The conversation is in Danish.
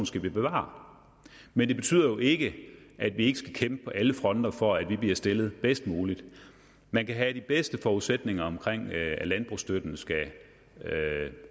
skal vi bevare men det betyder jo ikke at vi ikke skal kæmpe på alle fronter for at vi bliver stillet bedst muligt man kan have de bedste forudsætninger om at landbrugsstøtten skal